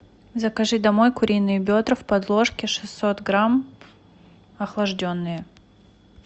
закажи домой куриные бедра в подложке шестьсот грамм охлажденные